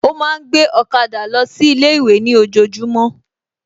Ó ma ń gbé ọ̀kadà lọ sí ilé ìwé ní ojojúmọ́